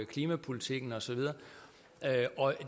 klimapolitikken og så videre